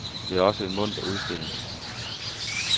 Det er også en munter udstilling.